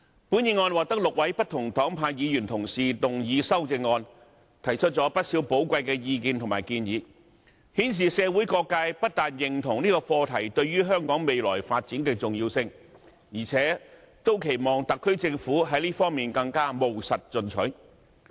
本議案獲得6位不同黨派議員同事動議修正案，提出不少寶貴的意見及建議，顯示社會各界不單認同此課題對於香港未來發展的重要性，而且也期望特區政府在這方面更務實進取。